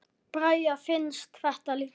Braga finnst þetta líka.